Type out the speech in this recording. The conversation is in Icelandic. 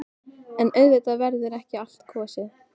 En auðvitað verður ekki á allt kosið.